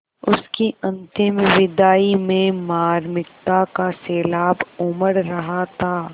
उसकी अंतिम विदाई में मार्मिकता का सैलाब उमड़ रहा था